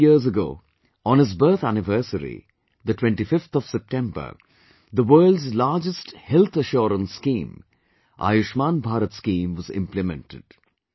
Three years ago, on his birth anniversary, the 25th of September, the world's largest health assurance scheme Ayushman Bharat scheme was implemented